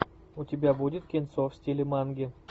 у тебя будет кинцо в стиле манги